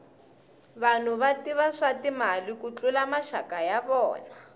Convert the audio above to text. vanhu va tiva swa timali ku tlula maxaka ya vona